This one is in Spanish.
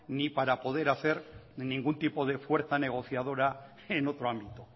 ni para poder hacer ningún tipo de fuerza negociadora en otro ámbito